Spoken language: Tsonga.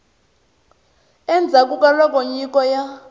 endzhaku ka loko nyiko ya